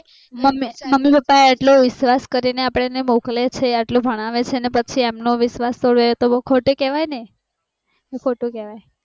mummy papa એટલું વિશ્વાસ કરીને અપ્દને મોકલે છે એટલું ભણાવે છે ને પછી એમનો વિશ્વાસ તોડીએ એ બૌ ખૂટું કેવાય ને એ ખોટું કેવાય